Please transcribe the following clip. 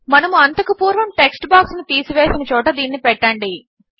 మనము అంతకు పూర్వము టెక్స్ట్ బాక్స్ ను తీసి వేసిన చోట దీనిని పెట్టండి